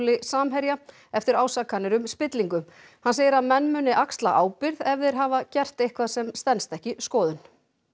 Samherja eftir ásakanir um spillingu hann segir að menn muni axla ábyrgð ef þeir hafa gert eitthvað sem stenst ekki skoðun